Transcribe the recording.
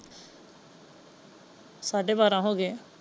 ਸਾਡੇ ਬਾਰ੍ਹਾਂ ਹੋ ਗਏ।